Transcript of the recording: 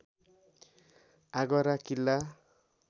Agra Qila